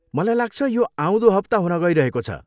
मलाई लाग्छ यो आउँदो हप्ता हुन गइरहेको छ।